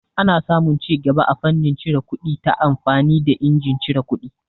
Ana samu cigaba a fannin cire kuɗi ta amfani da injin cire kuɗi.